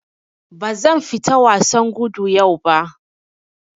Bazan fita wasan gudu yau ba.